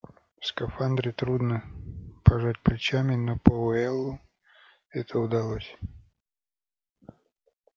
в скафандре трудно пожать плечами но пауэллу это удалось